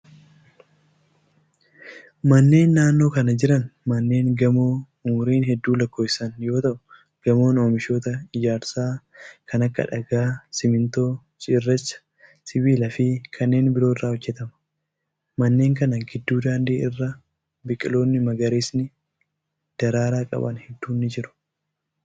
Manneen naannoo kana jiran manneen gamoo umurii hedduu lakkoofsisan yoo ta'u, gamoon oomishoota ijaarsaa kan akka:dhagaa, simiintoo, cirracha, sibiila fi kanneen biroo irraa hojjatama. Manneen kana gidduu daandii irra biqiloonni magariisni daraaraa qaban hedduun ni jiru.